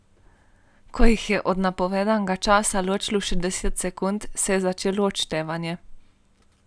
Ko jih je od napovedanega časa ločilo le še deset sekund, se je začelo odštevanje.